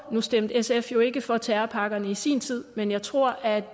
nu stemte sf jo ikke for terrorpakkerne i sin tid men jeg tror at